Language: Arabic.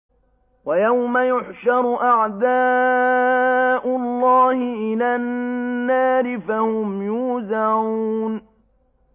وَيَوْمَ يُحْشَرُ أَعْدَاءُ اللَّهِ إِلَى النَّارِ فَهُمْ يُوزَعُونَ